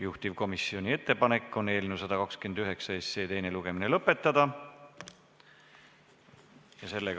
Juhtivkomisjoni ettepanek on eelnõu 129 teine lugemine lõpetada.